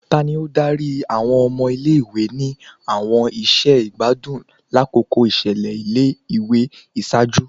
Tani o dari awọn ọmọ ile-iwe ni awọn iṣẹ igbadun lakoko iṣẹlẹ ile-iwe iṣaaju?